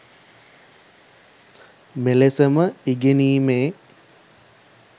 මෙලෙසම ඉගෙනීමේ